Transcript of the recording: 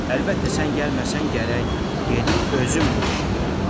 Əlbəttə, sən gəlməsən gərək gedib özüm bu işi görəm.